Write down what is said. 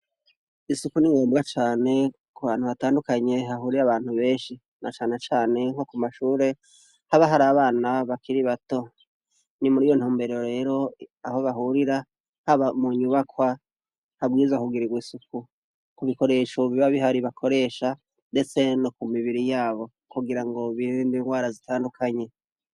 Isuku ni ngombwa cane ku hantu hatandukanye hahurira abantu benshi na cane cane nko ku mashure haba har'abana bakiri bato. Ni mur'iyo ntumbero rero aho bahurira, haba mu nyubakwa, habwirizwa kugirirwa isuku. Ku bikoresho biba bihari bakoresha ndetse no ku mibiri yabo kugira birinde indwara zitandukanye.